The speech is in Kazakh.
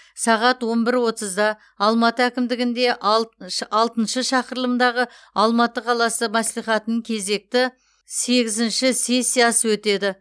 сағат он бір отызда алматы әкімдігінде алтыншы шақырылымдағы алматы қаласы мәслихатының кезекті сегізінші сессиясы өтеді